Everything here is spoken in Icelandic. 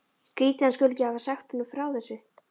Skrýtið að hann skuli ekki hafa sagt honum frá þessu.